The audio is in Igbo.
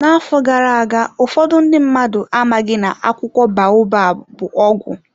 N'afọ gara aga, ụfọdụ ndị mmadụ amaghị na akwụkwọ baobab bụ ọgwụ.